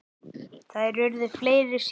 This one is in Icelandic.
Þær urðu fleiri síðar.